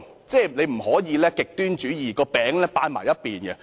政府不能行極端主義，只把"餅"側重於一邊。